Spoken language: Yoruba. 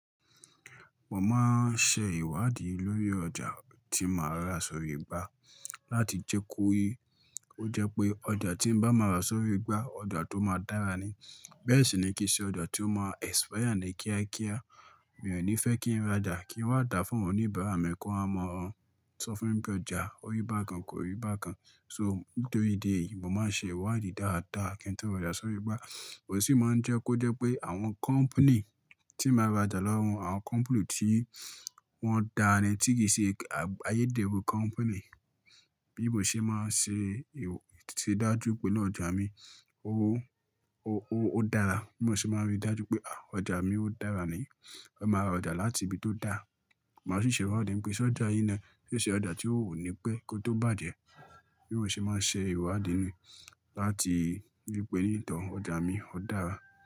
Mo máa ń ṣe ìwádìí lórí ọjà tí màá rà sórí gbá láti jẹ́ kó yé kó jẹ́ pé ọjà tí bá máa rà sórí gbá, ọjà tó máa dára ni. Bẹ́ẹ̀ sì ni kì í ṣe ọjà tí ó máa expire ní kíákíá. Mi ò ní fẹ́ kí n ra ọjà kí ó dà fún oníbàárà mi kó ha mọ̀ ọ́n, sọ fún bí ọjà orí bà kan kò rí bà kan. So nítorí dé yìí mo máa ń ṣe ìwádìí dáadáa kí n tó ra ọjà sórí gbá. Kò sì máa ń jẹ́ kó jẹ́ pé àwọn company tí màá ra ọjà lọ́wọ́, àwọn company tí wọ́n dára, tí kì í ṣe ayédèrú company. Bí mo ṣe máa ń ṣe, tí dájú pé iná ọjà mi, ó, ó, ó dára. Mo sì máa ń rí dájú pé àá, ọjà mi ó dára ni. Ó máa ra ọjà láti ibi tó dára. Mo sì ṣe ìwádìí pé ṣe ọjà yí ni? Sẹ́ ṣe ọjà tí ò ní pé kó tó bàjẹ́? Bí mo ṣe máa ń ṣe ìwádìí láti wí pé ní ìtàn ọjà mi ó dára.